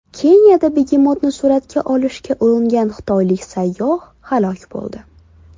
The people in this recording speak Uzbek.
Keniyada begemotni suratga olishga uringan xitoylik sayyoh halok bo‘ldi.